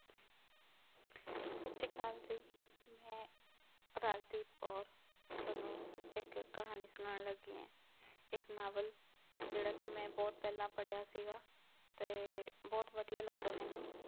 ਸਤਿ ਸ੍ਰੀ ਅਕਾਲ ਜੀ ਮੈਂ ਰਾਜਦੀਪ ਕੌਰ, ਤੁਹਾਨੂੰ ਇੱਕ ਕਹਾਣੀ ਸੁਣਾਉਣ ਲੱਗੀ ਹਾਂ ਇੱਕ ਨਾਵਲ ਜਿਹੜਾ ਕਿ ਮੈਂ ਬਹੁਤ ਪਹਿਲਾਂ ਪੜ੍ਹਿਆ ਸੀਗਾ ਤੇ ਬਹੁਤ ਵਧੀਆ ਲੱਗਾ ਮੈਨੂੰ।